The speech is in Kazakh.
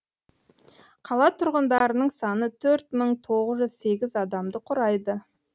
қала тұрғындарының саны төрт мың тоғыз жүз сегіз адамды құрайды